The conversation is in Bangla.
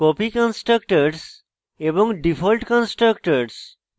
copy কন্সট্রাকটরস এবং default কন্সট্রাকটরস